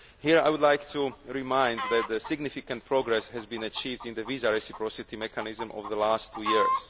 Here, I would like to remind you that significant progress has been achieved in the visa reciprocity mechanism over the last two years.